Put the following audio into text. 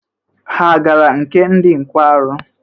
Ha agara nke ndị nkwarụ?